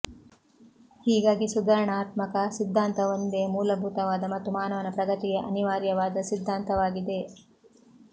ಹೀಗಾಗಿ ಸುಧಾರಣಾತ್ಮಕ ಸಿದ್ಧಾಂತವೊಂದೇ ಮೂಲಭೂತವಾದ ಮತ್ತು ಮಾನವ ಪ್ರಗತಿಗೆ ಅನಿವಾರ್ಯವಾದ ಸಿದ್ಧಾಂತವಾಗಿದೆ